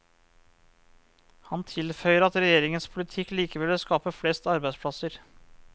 Han tilføyer at regjeringens politikk likevel vil skape flest arbeidsplasser.